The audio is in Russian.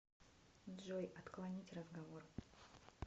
джой отклонить разговор